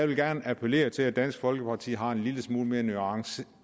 vil appellere til at dansk folkeparti har en lidt mere nuanceret